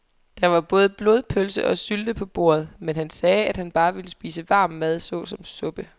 Der var både blodpølse og sylte på bordet, men han sagde, at han bare ville spise varm mad såsom suppe.